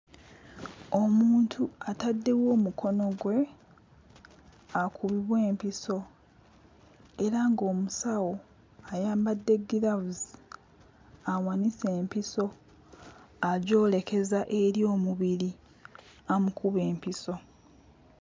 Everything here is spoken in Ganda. Omuntu ataddewo omukono gwe akubibwe empiso era ng'omusawo ayambadde ggiraavuzi awanise empiso agyolekeza eri omubiri amukube empiso.